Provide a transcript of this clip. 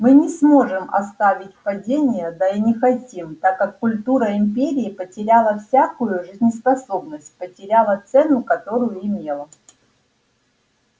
мы не сможем оставить падение да и не хотим так как культура империи потеряла всякую жизнеспособность потеряла цену которую имела